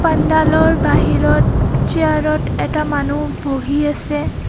পাণ্ডালৰ বাহিৰত চিয়াৰ ত এটা মানুহ বহি আছে.